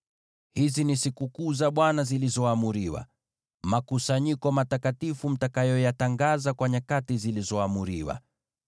“ ‘Hizi ni sikukuu za Bwana zilizoamriwa, makusanyiko matakatifu mtakayoyatangaza kwa nyakati zilizoamriwa: